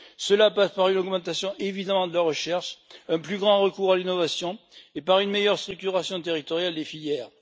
Cela passe par une augmentation évidente de la recherche, un plus grand recours à l'innovation et par une meilleure structuration territoriale des filières.